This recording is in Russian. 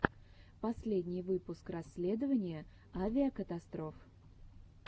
последний выпуск расследования авикатастроф